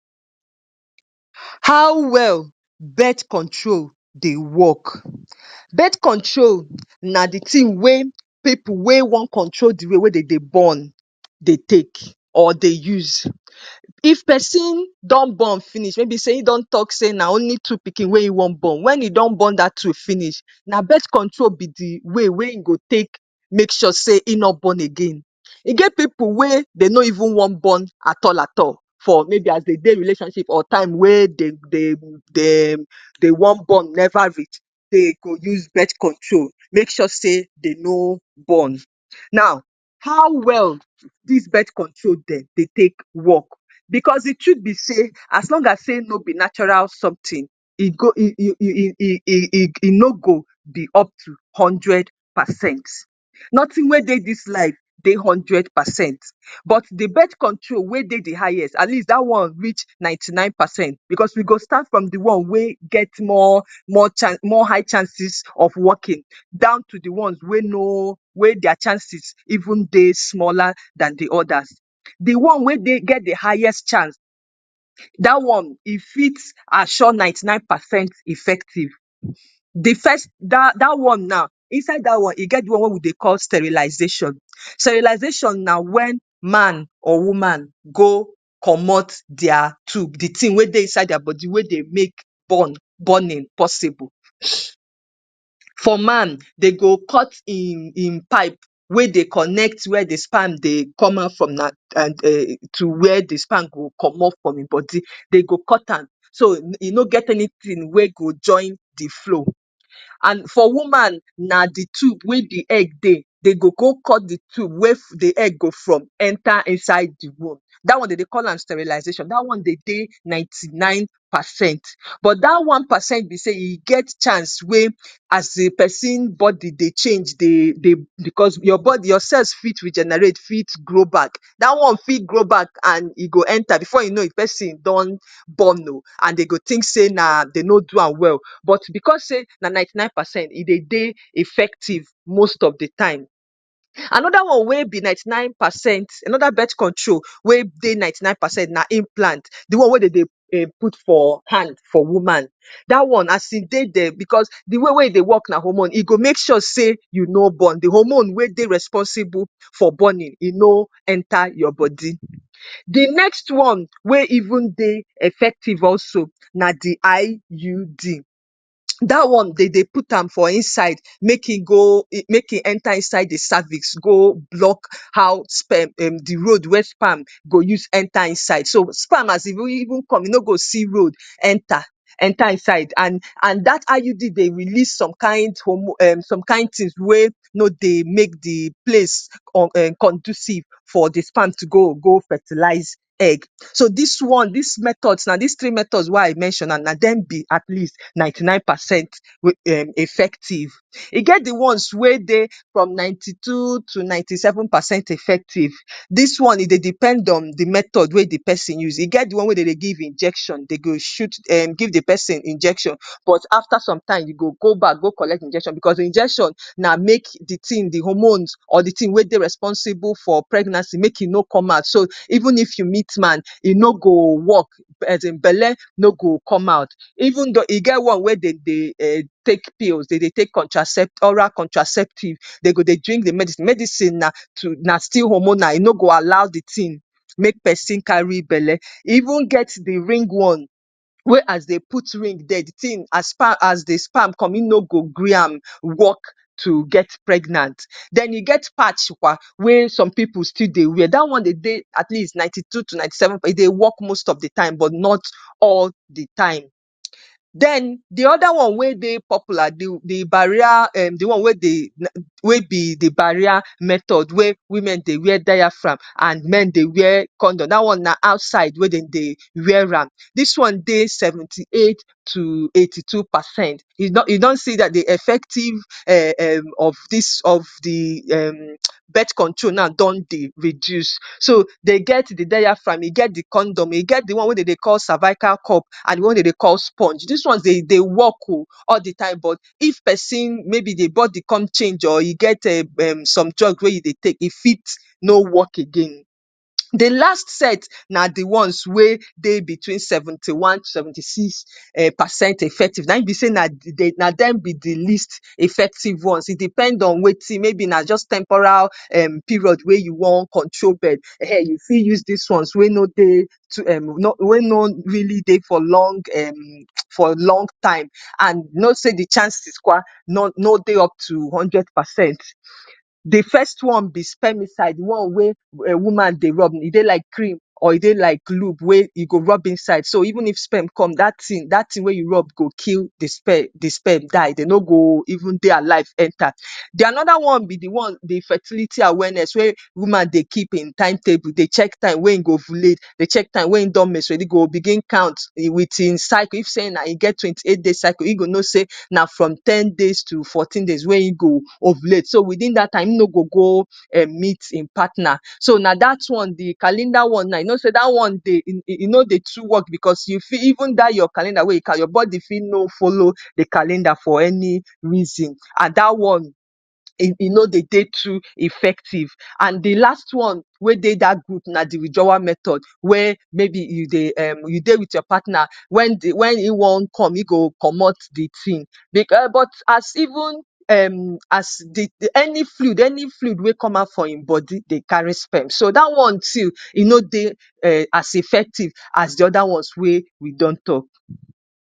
How well birth control dey work? Birth control na the thing wey pipu wey wan control the way wey de dey born, dey take or dey use. If pesin don born finish, maybe sey e don talk sey na only two pikin wey e wan born. When e don born dat two finish, na birth control be the way wey e go take make sure sey e no born again. E get pipu wey dey no even wan born at all at all, for maybe as they dey relationship or time wey de dey dem wan born never reach, they go use birth control make sure sey they no born. Now, how well dis birth control dem dey take work? Because the truth be sey as long as sey no be natural something, e go e e e e no go be up to hundred percent. Nothing wey dey dis life dey hundred percent. But the birth control wey dey the highest, at least dat one reached ninety-nine percent because we go start from the one wey get more more chance more high chances of working, down to the ones wey no wey their chances even dey smaller than the others. The one wey dey get the highest chance dat one, e fit assure ninety-nine percent effective. The first dat one now, inside dat one, e get the one wey we dey call sterilization. Sterilization na when man or woman go comot their tube. The thing wey dey inside their body, wey dey make born borning possible. For man, they go cut im im pipe wey dey connect where the sperm dey come out from na and um to where the sperm go comot from im body. They go cut am. So, e no get anything wey go join the flow. And for woman na the tube wey the egg dey. They go go cut the tube wey the egg go from enter inside the womb. Dat one de dey call am sterilization. Dat one dey dey ninety-nine percent. But dat one percent be sey, e get chance wey as e pesin body dey change dey dey dey because your body your cell fit regenerate fit grow back. Dat one fit grow back and e go enter. Before you know pesin don born oh. And de go think sey na na de no do am well. But because sey na ninety-nine percent, e dey dey effective most of the time. Another one wey be ninety-nine percent, another birth control wey dey ninety-nine percent na implant. The one wey de dey put for hand for woman. Dat one as e dey dere because the one wey e dey work na hormone. E go make sure sey you no born. The hormone wey dey responsible for borning e no enter your body. The next one wey even dey effective also na the IUD. Dat one de dey put am for inside make e go make e enter inside the cervix go block how sperm um the road wey sperm go use enter inside. So, sperm as e even come, e no go see road enter, enter inside and and dat IUD dey release some kind hormone, some kind things wey no dey make the place conducive for the sperm to go, go fertilize egg. So, dis one, des methods, des three methods wey i mention, na dem be at least ninety-nine percent wey um effective. E get the ones wey dey from ninety-two to ninety-seven percent effective. Dis one e dey depend on the method wey the person use. E get the one wey de dey give injection. De dey shoot um give the pesin injection. But after some time, you go back, go collect injection because the injection na make the thing, the hormones, or the thing wey dey responsible for pregnancy, make e no come out. So, even if you meet man, e no go work. Asin belle no go come out. e get one wey de dey um take pills, de dey take oral contraceptive. De go dey drink the medicine. Medicine na to na still hormonal. E no go allow the thing make pesin carry belly. E even get the ring one, wey as they put ring dere, the thing as the sperm come, e no go gree am work to get pregnant. Den e get patch kwa wey some pipu still dey wear, dat one dey dey at least ninety-two to ninety-seven percent. E dey work most of the time but not all the time. Den the other one wey dey popular, the the barrier um the one wey dey wey be the barrier method, wey women dey wear diaphragm and men dey wear condom. Dat one na outside wey dem dey wear am. Dis one dey seventy-eight to eighty-two percent. E don e don see dem the effective um of dis of the um birth control now don dey reduce. So, they get the diaphragm, e get the condom, e get tbhe one wey de dey call cervical cup, and the one wey de dey call sponge. Dis one dey dey work oh all the time but if pesin maybe the body come change or e get um some drug wey you dey take, e fit no work again. The last set na the ones wey dey between seventy-one, seventy-six um percent effective. Na im be sey na dem be the the least effective ones. E depend on wetin maybe na just temporal um period wey you wan control dem[um]ehn you fit use des ones wey no dey too um wey no really dey for long um for long time and you know sey the chances kwa no no dey up to hundred percent. The first one be spermicide, the one wey woman dey rub. E dey like cream or e dey like lube wey e go rub inside. So, even if sperm come, dat thing dat thing wey you rub go kill the sperm the sperm die. They no go even dey alive enter. Den another one be the one the fertility awareness, wey woman dey keep im timetable, dey check time wey e go ovulate, dey check time when im don menstrate. Im go begin count um with im circle. If sey na im get twenty-eight days circle, im go know sey na from ten days to fourteen days wey e go ovulate. So, within dat time e no go[um] meet im partner. So, na dat one be calendar one now. You know sey dat one dey e no dey too work because you fit even dat your calendar wey you count, your body fit no follow the calender for any reason. And dat one, e e no dey dey too effective. And the last one wey dey dat group na the withdrawal method. Where maybe you dey um you dey with your partner, when um when e wan come, im go comot the thing. But as even um as the any fluid any fluid wey come out fromn im body dey carry sperm. So, dat one too e no dey um as effective as the other ones wey we don talk.